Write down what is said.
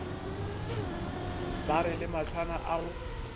mare le mahlwana a go